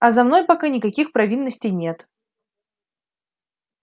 а за мной пока никаких провинностей нет